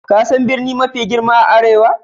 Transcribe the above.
Ka san birni mafi girma a arewa?